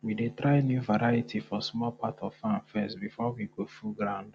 our guinea fowl don don better now he dey lay big egg wey get fine colour.